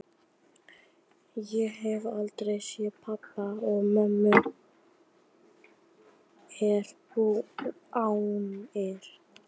Ég hef aldrei séð pabba og mamma er dáin.